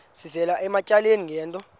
sivela ematyaleni ngento